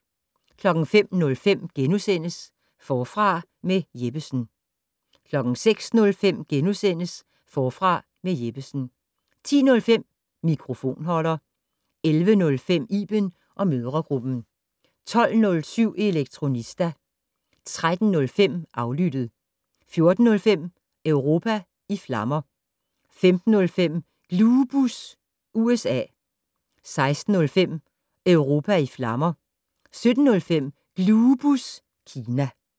05:05: Forfra med Jeppesen * 06:05: Forfra med Jeppesen * 10:05: Mikrofonholder 11:05: Iben & mødregruppen 12:07: Elektronista 13:05: Aflyttet 14:05: Europa i flammer 15:05: Glubus USA 16:05: Europa i flammer 17:05: Glubus Kina